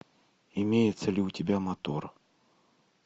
имеется ли у тебя мотор